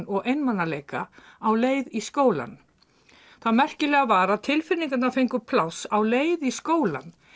og einmanaleika á leið í skólann tilfinningarnar fengu pláss á leið í skólann